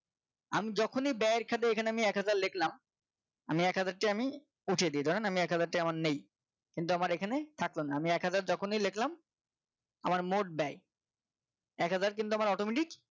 আমি যখনই ব্যয়ের খাতায় এখানে এক হাজার লিখলাম আমি এক হাজারটি আমি উঠিয়ে দিই ধরেন আমি এক হাজার টাকা আমার নেই কিন্তু আমার এখানে থাকলো না আমি এক হাজার যখনি লিখলাম আমার মোট ব্যয় এক হাজার কিন্তু আমার automatic